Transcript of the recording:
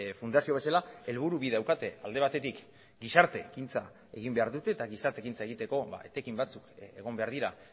fundazio bezala helburu bi daukate alde batetik gizarte ekintza egin behar dute eta gizarte ekintza egiteko etekin batzuk egon behar dira